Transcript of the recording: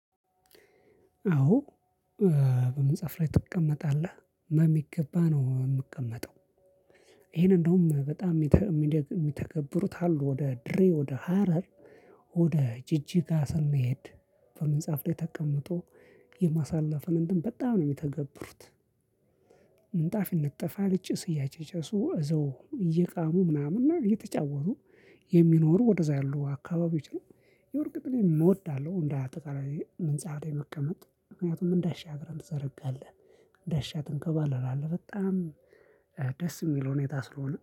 አዎ። በመጽሐፍ ላይ ትቀመጣለህ መሚገባ ነው የምቀመጠው። ይሄን እንደውም በጣም የሚደግ የሚተገብሩት አሉ ወደ ድሬ ወደ ሀረር ወደ ጅጅጋ ስንሄድ። በመጽሐፍ ላይ ተቀምጦ የማሳለፍን እንትን በጣም ነው የሚተገብሩት። ምንጣፍ ይነጠፋል ጭስ እያጨጨሱ እዛው እየቃሙ ምናምን እና እየተጫወቱ የሚኖሩ ወደዛ ያሉ አካባቢዎች ነው። ያው እርግጥ እኔም እወዳለው እንዳጠቃላይ ምንጣፍ ላይ መቀመጥ ምክንያቱም እንዳሻህ እግርህን ትዘረጋለህ። እንዳሻህ ትንከባለላለህ በጣም ደስ የሚል ሁኔታ ስለሆነ